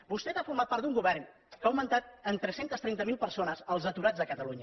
vostès han format part d’un govern que ha augmentat en tres cents i trenta miler persones els aturats a catalunya